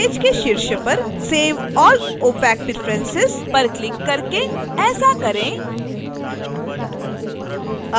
page के शीर्ष पर save all opac preferences पर क्लिक करके ऐसा करें